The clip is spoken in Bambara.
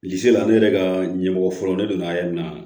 Bilisi la ne yɛrɛ ka ɲɛmɔgɔ fɔlɔ ne donna yan nɔ